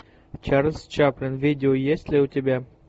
чарльз чаплин видео есть ли у тебя